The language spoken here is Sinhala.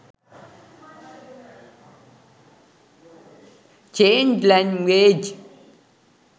change language